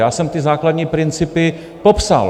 Já jsem ty základní principy popsal.